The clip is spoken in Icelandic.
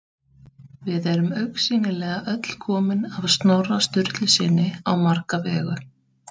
Við erum augsýnilega öll komin af Snorra Sturlusyni á marga vegu.